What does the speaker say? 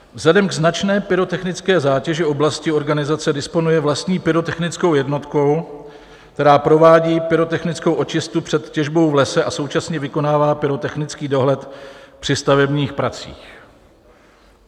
Vzhledem k značné pyrotechnické zátěži oblasti organizace disponuje vlastní pyrotechnickou jednotkou, která provádí pyrotechnickou očistu před těžbou v lese, a současně vykonává pyrotechnický dohled při stavebních pracích.